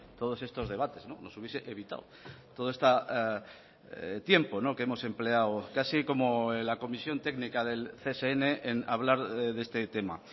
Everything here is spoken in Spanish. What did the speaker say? todos estos debates nos hubiese evitado todo este tiempo que hemos empleado así como en la comisión técnica del csn en hablar de este tema